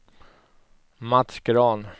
Mats Grahn